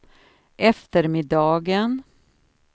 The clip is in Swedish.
eftermiddagen